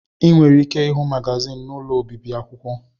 Ị nwere ike ịhụ magazin n'ụlọ obibi akwụkwọ.